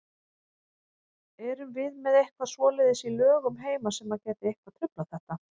Erum við með eitthvað svoleiðis í lögum heima sem að gæti eitthvað truflað þetta?